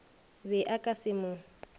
be a ka se mo